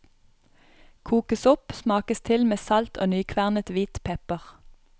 Kokes opp, smakes til med salt og nykvernet hvit pepper.